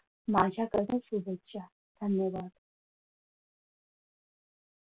माझ्याकडून शुभेच्छा धन्यवाद.